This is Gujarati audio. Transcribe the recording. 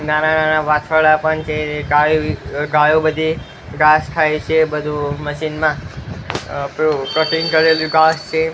નાના નાના વાછરડા પણ છે ગાયો અહ ગાયો બધી ઘાસ ખાય છે બધું મશીન માં અહ પેલું કટીંગ કરેલું કરેલો ઘાસ છે.